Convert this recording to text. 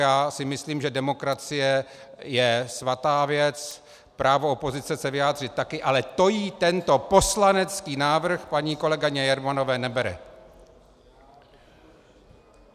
Já si myslím, že demokracie je svatá věc, právo opozice se vyjádřit taky, ale to jí tento poslanecký návrh paní kolegyně Jermanové nebere.